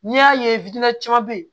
N'i y'a ye caman bɛ yen